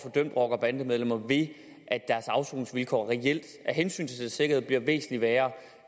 dømt rockere og bandemedlemmer ved at deres afsoningsvilkår af hensyn til deres sikkerhed bliver væsentlig værre